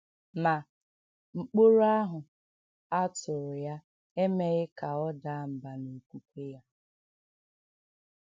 Ma, mkpòrò ahụ a tụrụ ya emèghị ka ọ daa mbà n’okwùkwè ya.